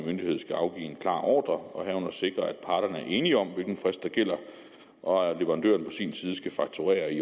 myndighed skal afgive en klar ordre og herunder sikre at parterne er enige om hvilken frist der gælder og at leverandøren på sin side skal fakturere i